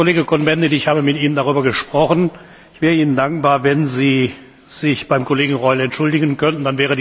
Herr Kollege Cohn Bendit, ich habe mit Ihnen darüber gesprochen. Ich wäre Ihnen dankbar, wenn Sie sich beim Kollegen Reul entschuldigen könnten.